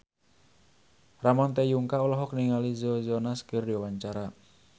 Ramon T. Yungka olohok ningali Joe Jonas keur diwawancara